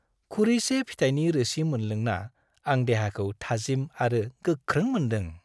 खुरैसे फिथाइनि रोसि मोनलोंना आं देहाखौ थाजिम आरो गोख्रों मोनदों।